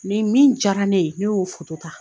Nin min jayara ne ye, ne y'o ta.